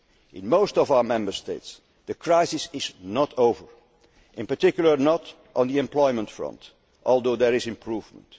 circumstances. In most of our Member States, the crisis is not over, in particular, not on the employment front, although there is